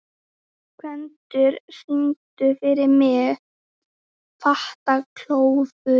Gvendur, syngdu fyrir mig „Fatlafól“.